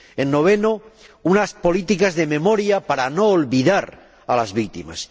En noveno lugar, unas políticas de memoria para no olvidar a las víctimas.